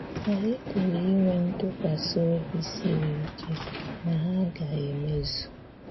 Ànyị̀ pụrụ inwe ntụ́kwàsị̀ ọ̀bì sīrì íké na hà gā-èmézù.